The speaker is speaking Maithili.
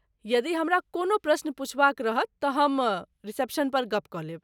यदि हमरा कोनो प्रश्न पुछबाक रहत त हम रिसेप्शनपर गप्प कऽ लेब।